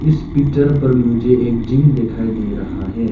इस पिक्चर पर मुझे एक जिम दिखाई दे रहा है।